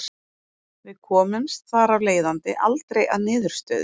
Við komumst þar af leiðandi aldrei að niðurstöðu.